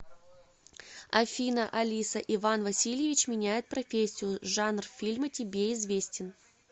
афина алиса иван васильевич меняет профессию жанр фильма тебе известен